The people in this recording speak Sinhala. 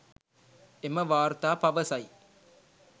එම වාර්තා පවසයි